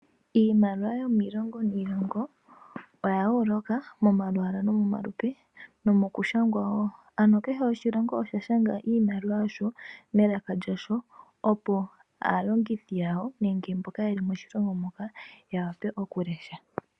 Iimaliwa yomiilongo niilongo oya yooloka momalwaala nomomalupe nomoushangwa wo, ano kehe oshilongo osha shanga iimaliwa yasho melaka lyasho, opo aalongithi yawo nenge mboka yeli moshilongo moka ya vule oku lesha.